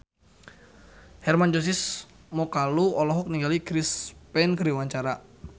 Hermann Josis Mokalu olohok ningali Chris Pane keur diwawancara